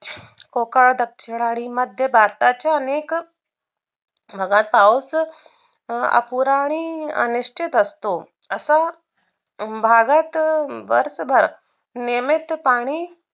कोकण दक्षरानी मध्य भारताच्या अनेक बघात पाऊस अपुराणि अनिश्चित असतो असं भागत वर्षभर नियमित पाणी